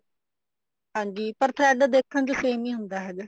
ਹਾਂਜੀ ਪਰ thread ਦੇਖਣ ਵਿੱਚ same ਹੀ ਹੁੰਦਾ ਹੈਗਾ